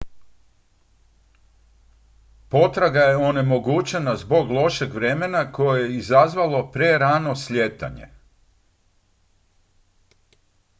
potraga je onemogućena zbog lošeg vremena koje je izazvalo prerano slijetanje